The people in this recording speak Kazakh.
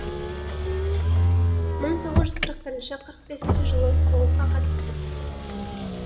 мың тоғыз жүз қырық бір қырық бесінші жылы соғысқа қатысты